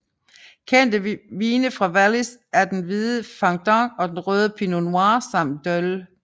Kendte vine fra Wallis er den hvide Fendant og den røde Pinot Noir samt Dôle